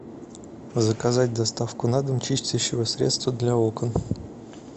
заказать доставку на дом чистящего средства для окон